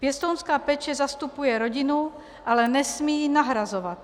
Pěstounská péče zastupuje rodinu, ale nesmí ji nahrazovat.